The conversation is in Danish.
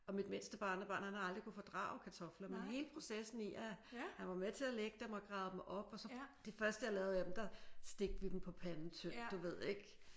Og mit mindste barnebarn han har aldrig kunnet fordrage kartofler men hele processen i at han var med til at lægge dem og grave dem op og så de første jeg lavede af dem der stegte vi dem på panden tyndt du ved ik?